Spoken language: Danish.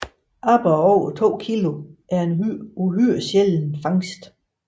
Aborrer over 2 kg er en uhyre sjælden fangst